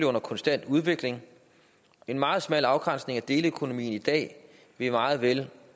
under konstant udvikling en meget smal afgrænsning af deleøkonomien i dag vil meget vel